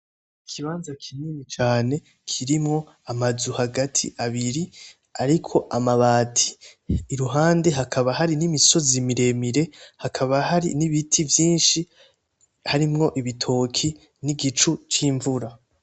Ikibanza kinini cane kirimwo amazu hagati abiri ariko amabati iruhande hakaba hari n'imisozi miremire, hakaba hari n'ibiti harimwo ibitoki n'igicu c'imvura.